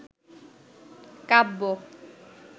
কাব্য